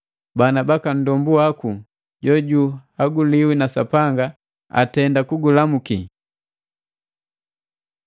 Bana baka nndombu waku jojuhaguliwi na Sapanga atenda kukulamuki.